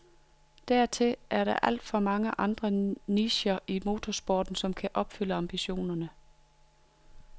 Dertil er der alt for mange andre nicher i motorsporten, som kan opfylde ambitionerne.